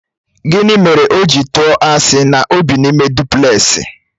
Gịnị mere o ji tụọ asị na ọ bị n'ime duplẹsị?